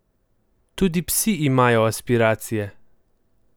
Tudi psi imajo aspiracije!